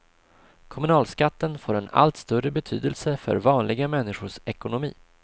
Kommunalskatten får en allt större betydelse för vanliga människors ekonomi.